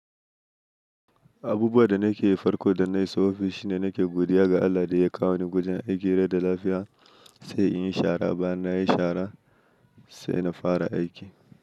Abubuwa da nake farko idon na iso ofis shi ne, nake godiya ga Allah da ya kawo ni gojen aiki rai da lafiya sai in yi shara. Bayan nayi shara sai na fara aiki.